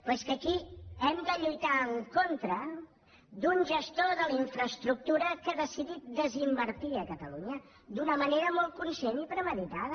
però és que aquí hem de lluitar en contra d’un gestor de la infraestructura que ha decidit desinvertir a catalunya d’una manera molt conscient i premeditada